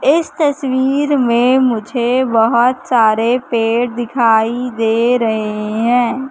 इस तस्वीर में मुझे बहोत सारे पेड़ दिखाई दे रहे हैं।